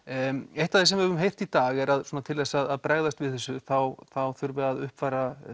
eitt af því sem við höfum heyrt í dag er svona til þess að bregðast við þessu þá þá þurfi að uppfæra